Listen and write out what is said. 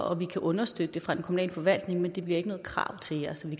og vi kan understøtte det fra den kommunale forvaltning men det bliver ikke noget krav til jer så vi